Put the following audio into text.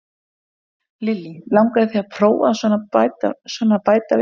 Lillý: Langaði þig að prófa að svona bæta við þig?